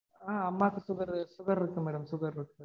ஆஹ் அம்மாக்கு sugar இருக்கு madam sugar இருக்கு